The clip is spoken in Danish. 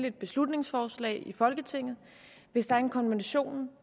et beslutningsforslag i folketinget hvis der er en konvention